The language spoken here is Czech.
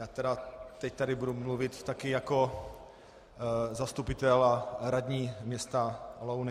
Já tedy teď tady budu mluvit také jako zastupitel a radní města Louny.